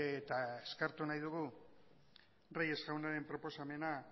eta eskertu nahi dugu reyes jaunaren proposamena